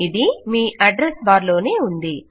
ఇది మీ address bar లోనే ఉంది